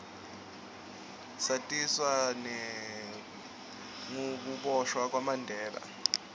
satiswa nengukiboshwa kwamandela